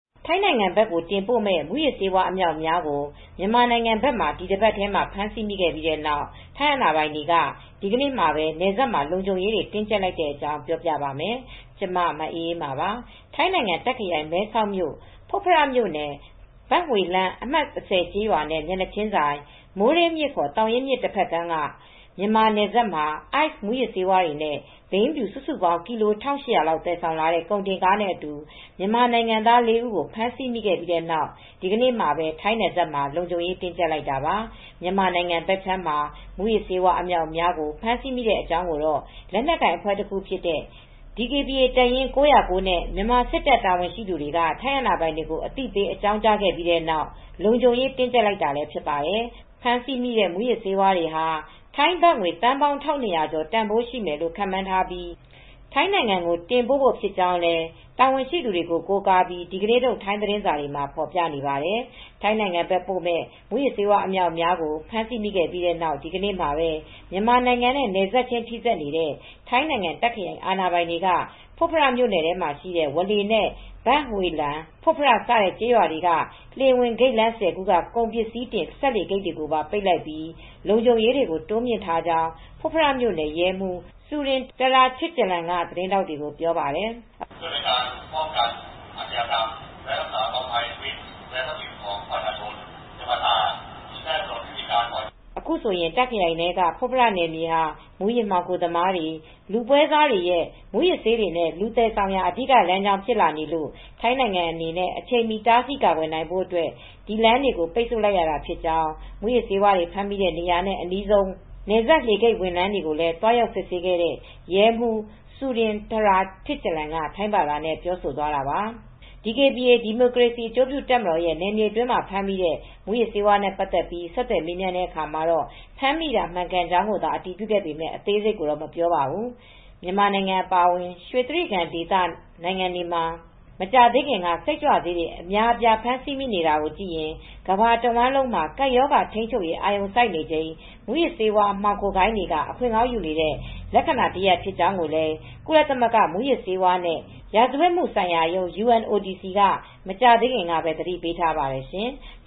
ထိုင်းနိုင်ငံဘက်ကို တင်ပို့မယ့် မူးယစ်ဆေးဝါး အမြောက်အများကို မြန်မာနိုင်ငံဘက်မှာ ဒီတပတ်ထဲ ဖမ်းဆီးမိခဲ့ပြီးနောက် ထိုင်းအာဏာပိုင်တွေက ဒီနေ့ပဲ နယ်စပ်မှာ လုံခြုံရေးတွေ တင်းကြပ်လိုက်တဲ့အကြောင်း ပြောပြပါမယ်။ ဗွီအိုအေမြန်မာပိုင်းသတင်းထောက် မအေးအေးမာက သတင်းပေးပို့ထားပါတယ်။ ထိုင်းနိုင်ငံ တာ့ခ်ခရိုင် မဲဆောက်မြို့ ဖွတ်ဖရမြို့နယ် ဘန့်ဟွေ့လန်း အမှတ် ၁၀ ကျေးရွာနဲ့ မျက်နှာချင်းဆိုင် မိုးရေးမြစ်ခေါ် သောင်ရင်းမြစ် တဘက်ကမ်းက မြန်မာနယ်စပ်မှာ Ice မူးယစ်ဆေးဝါးတွေနဲ့ ဘိန်းဖြူ စုစုပေါင်း ကီလို ၁,၈၀၀ လောက် သယ်ဆောင်လာတဲ့ ကုန်တင်ကားနဲ့အတူ မြန်မာနိုင်ငံသား ၄ ဦးကို ဖမ်းဆီးမိခဲ့ပြီးနောက် ဒီနေ့မှာပဲ ထိုင်းနယ်စပ်မှာ လုံခြုံရေးတင်းကြပ်လိုက်တာပါ။ မြန်မာနိုင်ငံဘက်ခြမ်းမှာ မူးယစ်ဆေးဝါး အမြောက်အများကို ဖမ်းဆီးမိတဲ့အကြောင်းကိုတော့ လက်နက်ကိုင်အဖွဲ့တခုဖြစ်တဲ့ DKBA တပ်ရင်းအမှတ် ၉၀၉ နဲ့ မြန်မာစစ်တပ် တာဝန်ရှိသူတွေက ထိုင်းအာဏာပိုင်တွေကို အသိပေးအကြောင်းကြားခဲ့ပြီးနောက် လုံခြုံရေး တင်းကြပ်လိုက်တာလည်း ဖြစ်ပါတယ်။ ဖမ်းဆီးမိတဲ့ မူးယစ်ဆေးတွေဟာ ထိုင်းဘတ်ငွေ သန်းပေါင်း ၁,၂၀၀ ကျော် တန်ဖိုးရှိမယ်လို့ ခန့်မှန်းထားပြီး ထိုင်းနိုင်ငံကို တင်ပို့ဖို့ဖြစ်ကြောင်းလည်း တာဝန်ရှိသူတွေကို ကိုးကားပြီး ဒီကနေ့ထုတ် ထိုင်းသတင်းစာတွေမှာ ဖော်ပြပါတယ်။ ထိုင်းနိုင်ငံဘက် တင်ပို့မယ့် မူးယစ်ဆေးဝါး အမြောက်အများကို ဖမ်းဆီးမိခဲ့ပြီးနောက် ဒီကနေ့မှာပဲ မြန်မာနိုင်ငံနဲ့ နယ်စပ်ချင်းထိစပ်နေတဲ့ ထိုင်းနိုင်ငံ တာ့ခ်ခရိုင် အာဏာပိုင်တွေက ဖွတ်ဖရမြို့နယ်ထဲမှာရှိတဲ့ ဝါးလေနဲ့ဘန့်ဟွေ့လန် - Phop Phra စတဲ့ ကျေးရွာတွေက လှေဂိတ် ဝင်လမ်း ၁၀ ခုက ကုန်ပစ္စည်းတင်စက်လှေဂိတ်တွေကိုပါ ပိတ်လိုက်ပြီး လုံခြုံရေးတွေ တိုးမြှင့်ထားကြောင်း ဖွတ်ဖရ မြို့နယ် ရဲမှူး စူရင် တရာထစ်ကျလန် က သတင်းထောက်တွေကို ပြောပါတယ်။ အခုဆိုရင်တာ့ခရိုင်ထဲက ဖွတ်ဖရ နယ်မြေဟာ မူးယစ်မှောင်ခိုသမားတွေ၊ လူပွဲစားတွေရဲ့ မူးယစ်ဆေးတွေနဲ့ လူသယ်ဆောင်ရာ အဓိက လမ်းကြောင်း ဖြစ်လာနေလို့ ထိုင်းနိုင်ငံအနဲ့အချိန်မှီ တာဆီးကာကွယ်နိုင်ဖို့အတွက် ဒီလမ်းတွေကို ပိတ်ဆို့လိုက်ရတာဖြစ်ကြောင်း မူးယစ်ဆေးတွေ ဖမ်းမိတဲ့ နေရာနဲ့ အနီးဆုံး ဆုံးဘက်က နယ်စပ် လှေဂိတ်ဝင်လမ်းတွေကို သွားရောက် စစ်ဆေးခဲ့တဲ့ ရဲမှူး စူရင် တရာထစ်ကျလန် က ထိုင်းဘာသာနဲ့ ပြောဆိုသွားတာပါ။။ DKBA ဒီမိုကရေစီ ကရင်အကျိုးပြုတပ်ရဲ့ နယ်မြေအတွင်းမှာ ဖမ်းမိတဲ့ မူးယစ်ဆေးဝါးတွေနဲ့ ပတ်သက်လို့ ဆက်သွယ်မေးမြန်းတဲ့အခါမှာ ဖမ်းမိတာ မှန်ကန်ကြောင်းကိုသာ အတည်ပြုခဲ့ပေမဲ့ အသေးစိတ်ကိုတော့ မပြောပါဘူး။ မြန်မာနိုင်ငံအပါအဝင် ရွှေတြိဂံဒေသနိုင်ငံတွေမှာ မကြာသေးခင်က စိတ်ကြွဆေးတွေ အများအပြား ဖမ်းဆီးမိနေတာကိုကြည့်ရင် ကမ္ဘာတဝန်းမှာ ကပ်ရောဂါထိန်းချုပ်ရေး အာရုံစိုက်နေချိန် မူးယစ်ဆေးမှောင်ခိုဂိုဏ်းတွေက အခွင့်ကောင်းယူနေတဲ့ လက္ခဏာတရပ် ဖြစ်ကြောင်းလည်း ကုလသမဂ္ဂ မူးယစ်ဆေးဝါးနဲ့ ရာဇဝတ်မှုဆိုင်ရာရုံး က မကြာသေးခင်တုန်းကပဲ သတိပေးထားပါတယ်ရှင်။